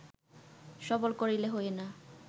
সবল করিলে হয় না